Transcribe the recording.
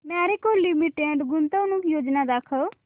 Marico limited गुंतवणूक योजना दाखव